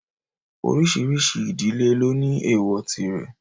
Oríṣiríṣi ìdílé ló ní èwọ̀ tirẹ̀.